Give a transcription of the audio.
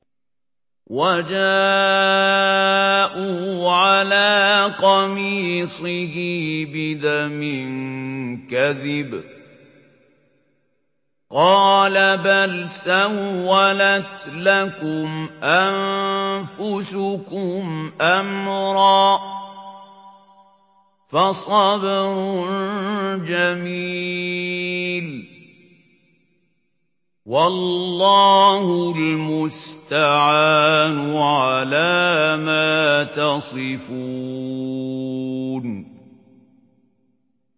وَجَاءُوا عَلَىٰ قَمِيصِهِ بِدَمٍ كَذِبٍ ۚ قَالَ بَلْ سَوَّلَتْ لَكُمْ أَنفُسُكُمْ أَمْرًا ۖ فَصَبْرٌ جَمِيلٌ ۖ وَاللَّهُ الْمُسْتَعَانُ عَلَىٰ مَا تَصِفُونَ